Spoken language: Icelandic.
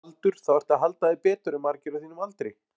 Miðað við aldur þá ertu að halda þér betur en margir á þínum aldri?